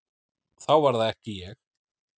Þá var það ekki ég!